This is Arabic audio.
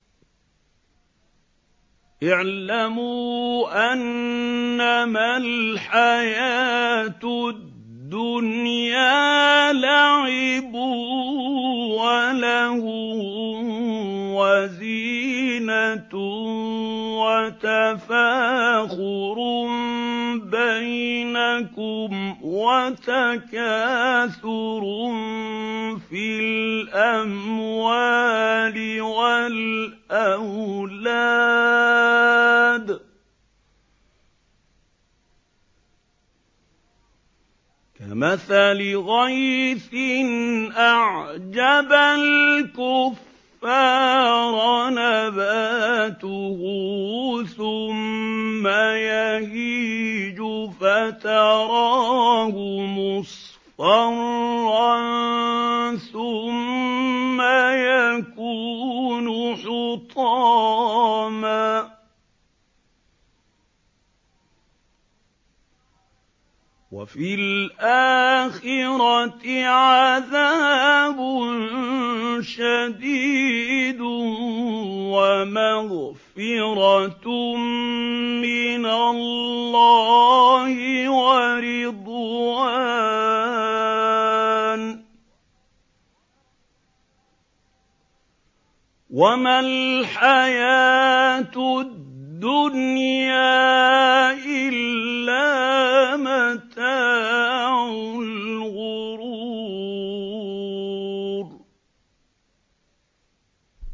اعْلَمُوا أَنَّمَا الْحَيَاةُ الدُّنْيَا لَعِبٌ وَلَهْوٌ وَزِينَةٌ وَتَفَاخُرٌ بَيْنَكُمْ وَتَكَاثُرٌ فِي الْأَمْوَالِ وَالْأَوْلَادِ ۖ كَمَثَلِ غَيْثٍ أَعْجَبَ الْكُفَّارَ نَبَاتُهُ ثُمَّ يَهِيجُ فَتَرَاهُ مُصْفَرًّا ثُمَّ يَكُونُ حُطَامًا ۖ وَفِي الْآخِرَةِ عَذَابٌ شَدِيدٌ وَمَغْفِرَةٌ مِّنَ اللَّهِ وَرِضْوَانٌ ۚ وَمَا الْحَيَاةُ الدُّنْيَا إِلَّا مَتَاعُ الْغُرُورِ